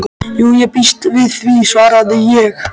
Jú, ég býst við því, svaraði ég.